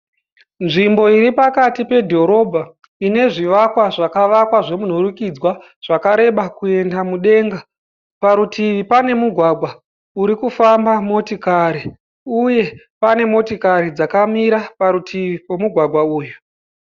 Nzvimbo iri pakati pedhorobha ine zvivakwa zvakavakwa zvemunhurikidzwa zvakareba kuenda mudenga. Parutivi pane mugwagwa uri kufamba motikari uye pane motikari dzakamira parutivi pemugwagwa uyu.